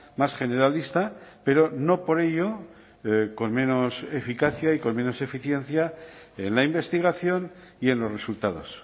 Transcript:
más generalista pero no por ello con menos eficacia y con menos eficiencia en la investigación y en los resultados